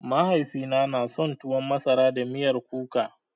Mahaifina na son tuwan masara da miyar kuka